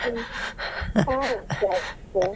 Hmm sure sure .